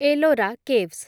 Ellora caves